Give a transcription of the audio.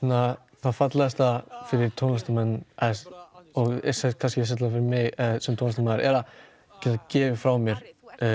það fallegasta fyrir tónlistarmenn og sérstaklega fyrir mig sem tónlistarmaður að geta gefið frá mér